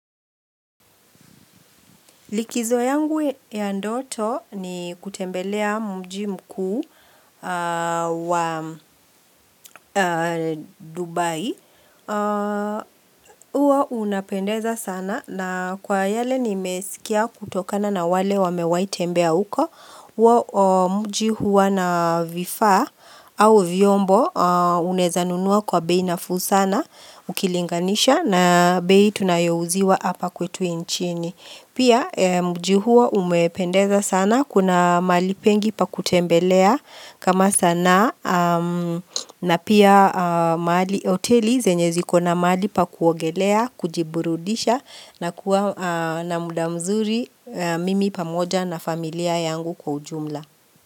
Likizo yangu ya ndoto ni kutembelea mji mkuu wa Dubai. Huwa unapendeza sana na kwa yale nimesikia kutokana na wale wamewahi tembea uko. Mji huwa na vifaa au vyombo unaweza nunua kwa bei nafuu sana ukilinganisha na bei tunayo uziwa hapa kwetu inchini. Pia mji huo umependeza sana kuna mahali pengi pa kutembelea kama sanaa na pia mahali hoteli zenye ziko na mahali pa kuogelea, kujiburudisha na kuwa na muda mzuri mimi pamoja na familia yangu kwa ujumla.